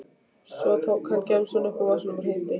Svo tók hann gemsann upp úr vasanum og hringdi.